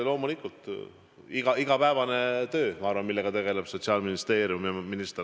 Loomulikult, see on igapäevane töö, sellega tegelevad Sotsiaalministeerium ja minister.